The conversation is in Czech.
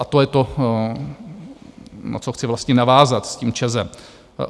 A to je to, na co chci vlastně navázat s tím ČEZem.